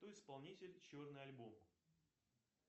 кто исполнитель черный альбом